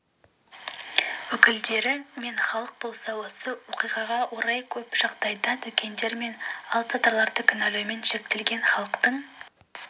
өкілдері мен халық болса осы оқиғаға орай көп жағдайда дүкендер мен алыпсатарларды кінәлаумен шектелген халықтың